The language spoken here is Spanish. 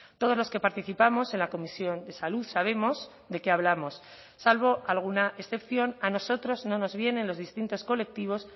todos los que participamos en la comisión de salud sabemos de qué hablamos salvo alguna excepción a nosotros no nos vienen los distintos colectivos